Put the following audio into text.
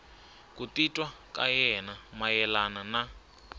ku titwa ka yena mayelana